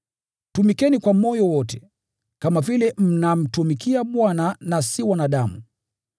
Tumikeni kwa moyo wote, kama vile mnamtumikia Bwana na si wanadamu.